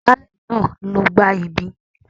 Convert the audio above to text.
Agbálẹ̀ náà ló gbá ibí.